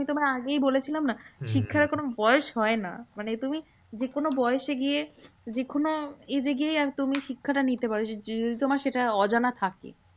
আমি তোমাকে আগেই বলেছিলাম না? শিক্ষার কোনো বয়স হয় না। মানে তুমি যেকোনো বয়সে গিয়ে যেকোনো age এ গিয়েই তুমি শিক্ষা টা নিতে পারো। তোমার সেটা অজানা থাকে।